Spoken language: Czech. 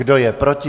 Kdo je proti?